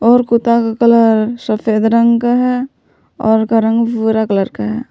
और कुत्ता का कलर सफेद रंग का है और का रंग भूरा कलर का है।